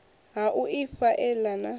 ha u ifha ela na